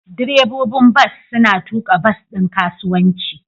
Direbobin bas suna tuka bas ɗin kasuwanci.